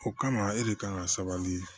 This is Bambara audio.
O kama e de kan ka sabali